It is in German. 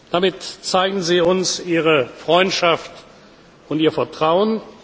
Damit zeigen Sie uns Ihre Freundschaft und Ihr Vertrauen.